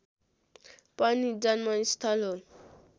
पनि जन्मस्थल हो